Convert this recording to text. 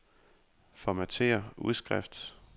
Formatér udskrift.